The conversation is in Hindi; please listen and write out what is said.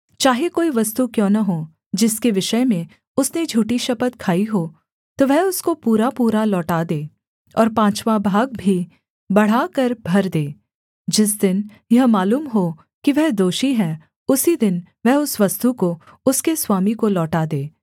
चाहे कोई वस्तु क्यों न हो जिसके विषय में उसने झूठी शपथ खाई हो तो वह उसको पूरापूरा लौटा दे और पाँचवाँ भाग भी बढ़ाकर भर दे जिस दिन यह मालूम हो कि वह दोषी है उसी दिन वह उस वस्तु को उसके स्वामी को लौटा दे